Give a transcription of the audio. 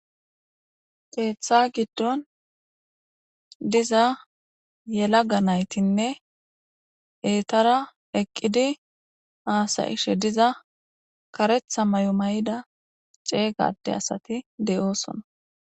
qeeththa giddon diza yela ga naytinne eetara eqqidi aasayishe diza karetha may7o may7ida ceeygade asati de7oosona